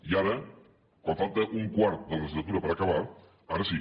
i ara quan falta un quart de la legislatura per acabar ara sí